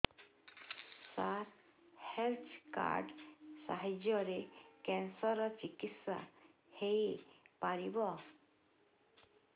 ସାର health card ସାହାଯ୍ୟରେ cancer ର ଚିକିତ୍ସା ହେଇପାରିବ